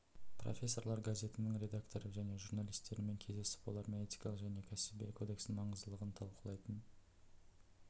профессорлар газетінің редакторы және журналистерімен кездесіп олармен этикалық және кәсіби кодекстің маңыздылығын талқылайтын